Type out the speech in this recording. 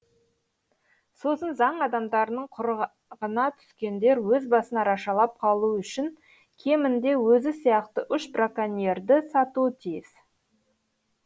сосын заң адамдарының құрығына түскендер өз басын арашалап қалуы үшін кемінде өзі сияқты үш браконьерді сатуы тиіс